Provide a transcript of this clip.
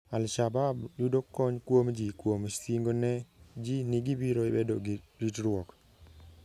Al - Shabab yudo kony kuom ji kuom singo ne ji ni gibiro bedo gi ritruok.